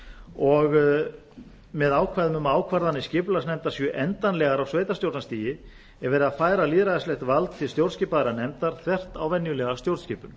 og með ákvæðunum um að ákvarðanir skipulagsnefndar séu endanlegar á sveitarstjórnarstigi er verið að færa lýðræðislegt vald til stjórnskipaðrar nefndar þvert á venjulega stjórnskipun